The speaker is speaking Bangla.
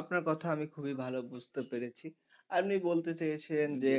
আপনার কথা আমি খুবই ভালো বুঝতে পেরেছি আপনি বলতে চেয়েছেন যে